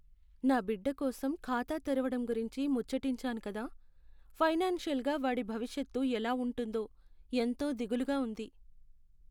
నా బిడ్డ కోసం ఖాతా తెరవడం గురించి ముచ్చటించాను కదా, ఫైనాన్షియల్గా వాడి భవిష్యత్తు ఎలా ఉంటుందో ఎంతో దిగులుగా ఉంది!